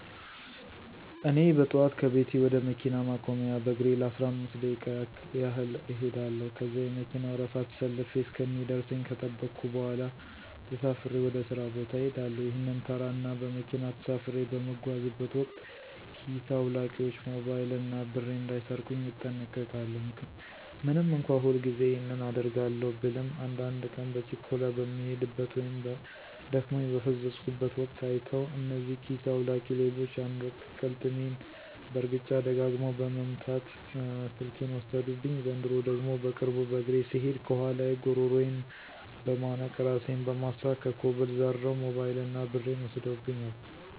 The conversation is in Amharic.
እኔ በጠዋት ከቤቴ ወደ መኪና ማቆሚያ በእግሬ ለአስራአምስት ደቂቃ ያህል እኸዳለው። ከዚያ የመከና ወረፋ ተሰልፌ እስከሚደርሰኝ ከጠበኩ በኋላ ተሳፍሬ ወደ ሥራ ቦታ እሄዳለሁ። ይህንን ተራ እና በመኪና ተሳፍሬ በምጓዝበት ወቅት ኪስ አዉላቂዎች ሞባይል እና ብሬን እንዳይሰርቁኝ እጠነቀቃለው። ምንም እንኳ ሁልጊዜ ይህንን አደርጋለው ብልም አንዳድ ቀን በችኮላ በምሄድበት ወይም ደክሞኝ በፈዘዝኩበት ወቅት አይተዉ እነዚህ ኪሰ አዉላቂ ሌቦች አንድ ወቅት ቅልጥሜን በእርግጫ ደጋግመው በመምት ስልኬን ወሰዱብኝ፤ ዘንድሮ ደግሞ በቅርቡ በእግሬ ስሄድ ከኋላየ ጉረሮየን በመነቅ እራሴን በማሳት ከኮብል ዘርረዉ ሞበይል እና ብሬን ወስደውብኛል።